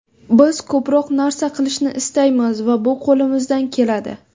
Biz ko‘proq narsa qilishni istaymiz va bu qo‘limizdan keladi.